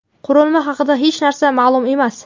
Qurilma haqida hech narsa ma’lum emas.